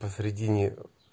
посередине